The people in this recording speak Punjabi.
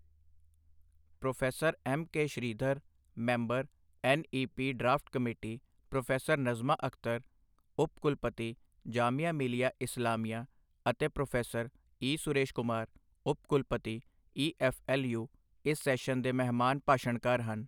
Pro M K Sridhar, member, N E P draft committee, professor Najma Akhtar, ਉਪ ਕੁਲਪਤੀ, ਜਾਮੀਆ ਮਿਲੀਆ ਇਸਲਾਮੀਆ ਅਤੇ ਪ੍ਰੋਫੈਸਰ ਈ. ਸੁਰੇਸ਼ ਕੁਮਾਰ, ਉਪ ਕੁਲਪਤੀ, ਈ ਐੱਫ਼ ਐੱਲ ਯੂ ਇਸ ਸੈਸ਼ਨ ਦੇ ਮਹਿਮਾਨ ਭਾਸ਼ਣਕਾਰ ਸਨ।